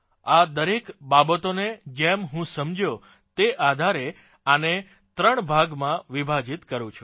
આ દરેક બાબતોને જેમ હું સમજ્યો તે આધારેઆને ત્રણ ભાગોમાં વિભાજીત કરું છું